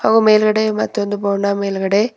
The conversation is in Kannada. ಅವು ಮೇಲ್ಗಡೆ ಮತ್ತೊಂದು ಬೋರ್ಡ್ನ ಮೇಲ್ಗಡೆ--